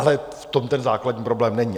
Ale v tom ten základní problém není.